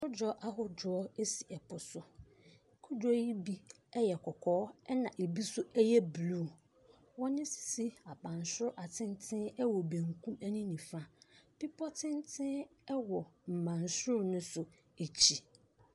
Kodoɔ ahodoɔ esi ɛpo so. Kodoɔ yi bi ɛyɛ kɔkɔɔ ɛna ebi yɛ bluu. Wɔn asisi abansoro ɛwɔ benkum ɛne nifa. Bepɔ tenten ɛwɔ mbansoro n'akyi.